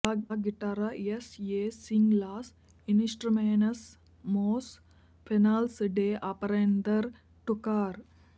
లా గిటార్రా ఎస్ ఎ సింగ్ లాస్ ఇన్స్ట్రుమెనస్ మోస్ ఫేసిల్స్ డె అపరేందర్ టుకార్